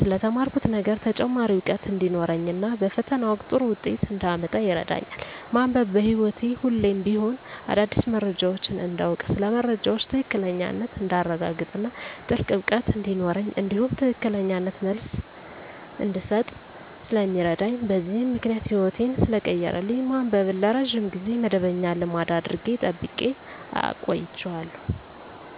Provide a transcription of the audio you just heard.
ስለ ተማርኩት ነገር ተጨማሪ እውቀት እንዲኖረኝ እና በፈተና ወቅት ጥሩ ውጤት እንዳመጣ ይረዳኛል። ማንበብ በህይወቴ ሁሌም ቢሆን አዳዲስ መረጃዎችን እንዳውቅ ስለ መረጃዎች ትክክለኛነት እንዳረጋግጥ እና ጥልቅ እውቀት እንዲኖረኝ እንዲሁም ትክክለኛ መልስ እንድሰጥ ስለሚረዳኝ በዚህም ምክንያት ህይወቴን ሰለቀየረልኝ ማንበብን ለረጅም ጊዜ መደበኛ ልማድ አድርጌ ጠብቄ አቆይቸዋለሁ።